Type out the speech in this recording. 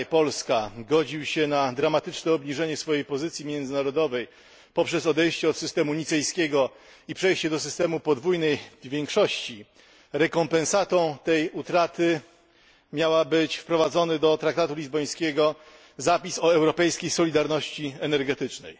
mój kraj, Polska, godził się na dramatyczne obniżenie swojej pozycji międzynarodowej poprzez odejście od systemu nicejskiego i przejście do systemu podwójnej większości, rekompensatą tej utraty miał być wprowadzony do traktatu lizbońskiego zapis o europejskiej solidarności energetycznej.